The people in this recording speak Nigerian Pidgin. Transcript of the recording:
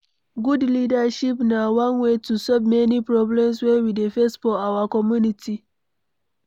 Good leadership na one way to solve many problem wey we dey face for our community